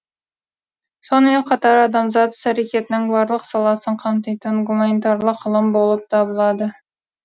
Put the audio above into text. сонымен қатар адамзат іс әрекетінің барлық саласын қамтитын гуманитарлық ғылым болып табылады